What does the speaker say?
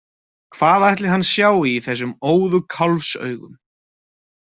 Hvað ætli hann sjái í þessum óðu kálfsaugum?